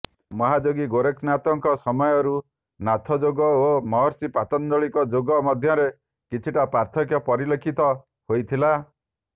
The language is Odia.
ମହାଯୋଗୀ ଗୋରେଖନାଥଙ୍କ ସମୟରୁ ନାଥଯୋଗ ଓ ମହର୍ଷି ପାତଞ୍ଜଳିଙ୍କ ଯୋଗ ମଧ୍ୟରେ କିଛିଟା ପାର୍ଥକ୍ୟ ପରିଲକ୍ଷିତ ହୋଇଥିଲା